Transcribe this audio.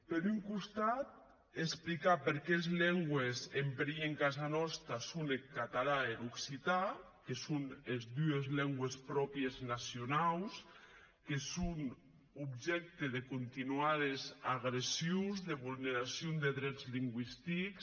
per un costat explicar perqué es lengües en perilh en casa nòsta son eth catalan e er occitan que son es dues lengües pròpries nacionaus que son objècte de continuades agressions de vulneracion de drets lingüistics